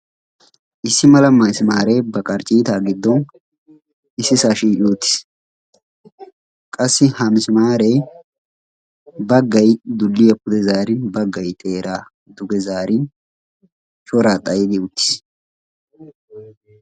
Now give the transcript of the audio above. Issi mala masimaaree ba qarccitaa giddon issisaa shiiqi uttiis. qassi ha misimaree baggay dulliyaa pude zarin baggay xeeraa duge zaarin shoraa xayi uttiis.